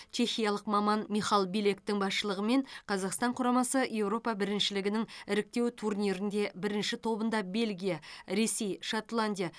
чехиялық маман михал билектің басшылығымен қазақстан құрамасы еуропа біріншілігінің іріктеу турнирінде бірінші тобында бельгия ресей шотландия